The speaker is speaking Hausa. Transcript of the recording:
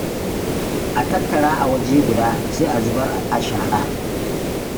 A tattara a waje guda, sai a zubar a shara.